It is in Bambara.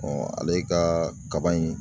ale ka kaba in